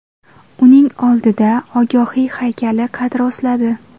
Uning oldida Ogahiy haykali qad rostladi.